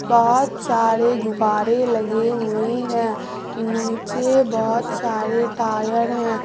बहोत सारे गुब्बारे लगे हुए है नीचे बहुत सारे तारें टायर है।